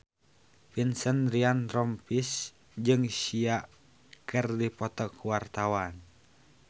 Vincent Ryan Rompies jeung Sia keur dipoto ku wartawan